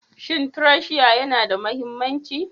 Shin tracia yana da mahimmanci?